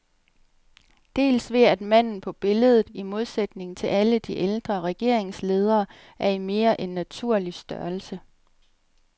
Dels ved at manden på billedet, i modsætning til alle de ældre regeringsledere, er i mere end naturlig størrelse.